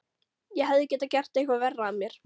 Ég hefði getað gert eitthvað verra af mér.